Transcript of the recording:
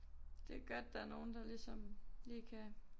Det er godt der er nogen der ligesom lige kan